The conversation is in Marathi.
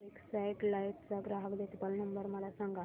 एक्साइड लाइफ चा ग्राहक देखभाल नंबर मला सांगा